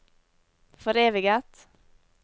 foreviget